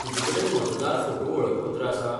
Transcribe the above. तुजेकडेन मतदार फोटो वळखपत्र आसा?